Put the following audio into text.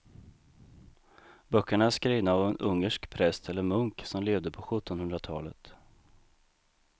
Böckerna är skrivna av en ungersk präst eller munk som levde på sjuttonhundratalet.